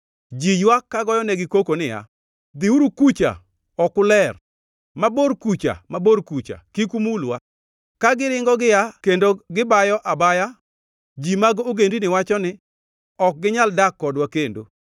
Ji ywak kagoyonegi koko niya, “Dhiuru kucha! Ok uler!” Mabor kucha, mabor kucha! Kik umulwa! Ka giringo giaa kendo gibayo abaya, ji mag ogendini wacho ni, “Ok ginyal dak kodwa kendo.”